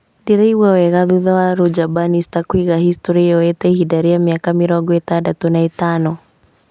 Ndĩraigua wega thutha wa Roger Bannister kũiga historĩ yoete ihinda rĩa mĩaka mĩrongo ĩtandatũ na ĩtano